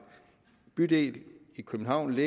bydel i københavn